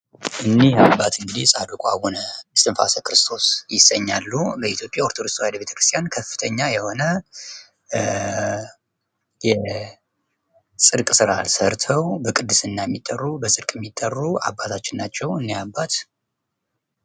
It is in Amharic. በዓለም ዙሪያ የተለያዩ ሃይማኖቶች ያሉ ሲሆን እያንዳንዳቸው የራሳቸው የሆነ ትምህርትና ባህል አላቸው።